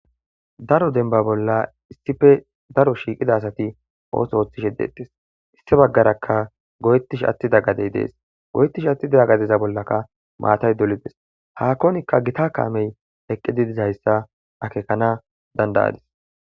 Daro denba bolla issippe daro shiiqida asati ootho oothishe de'etees sinththe bagaarakka goyetishe attida gadey de'es; goyetishe attida gadeza bollaka maatay dolides; haakonika gita kaamey eqqidi dizayssa akeekana danda'adis.